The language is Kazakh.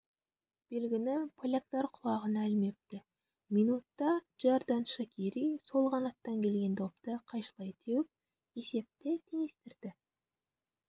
белгіні поляктар құлағына ілмепті минутта джердан шакири сол қанаттан келген допты қайшылай теуіп есепті теңестірді